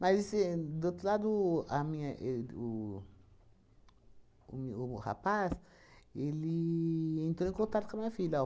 Mas assim, do outro lado a minha e o o meu o o rapaz, ele entrou em contato com a minha filha. Ó